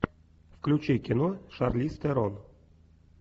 включи кино шарлиз терон